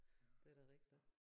Det da rigtigt